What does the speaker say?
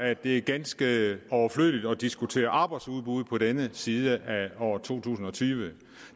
at det er ganske overflødigt at diskutere arbejdsudbuddet på denne side af år to tusind og tyve